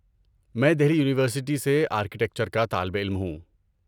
میں دہلی یونیورسٹی سے آرکیٹیکچر کا طالب علم ہوں۔